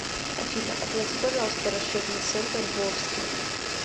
афина оплати пожалуйста расчетный центр волжский